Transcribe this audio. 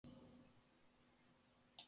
Það er ekkert á milli þeirra.